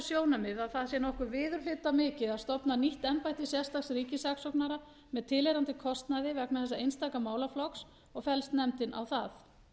sjónarmið að það sé nokkuð viðurhlutamikið að stofna nýtt embætti sérstaks ríkissaksóknara með tilheyrandi kostnaði vegna þessa einstaka málaflokks og fellst nefndin á það